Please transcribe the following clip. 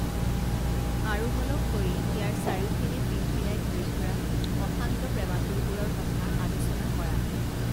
আৰোহণক কৰি ইয়াৰ চাৰিওপিনে পিলপিলাই ঘুৰি ফুৰা অশান্ত প্ৰেমাতুৰবোৰৰ কথা আলোচনা কৰা